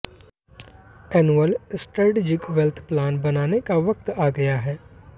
annual strategic wealth plan बनाने का वक्त आ गया है